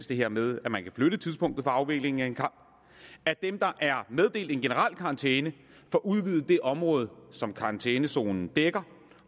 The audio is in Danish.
det her med at flytte tidspunktet for afviklingen af en kamp at dem der er meddelt en generel karantæne får udvidet det område som karantænezonen dækker